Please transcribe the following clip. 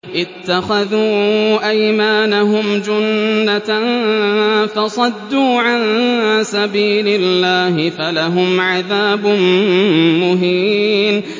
اتَّخَذُوا أَيْمَانَهُمْ جُنَّةً فَصَدُّوا عَن سَبِيلِ اللَّهِ فَلَهُمْ عَذَابٌ مُّهِينٌ